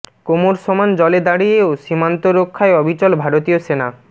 কোমর সমান জলে দাঁড়িয়েও সীমান্ত রক্ষায় অবিচল ভারতীয় সেনা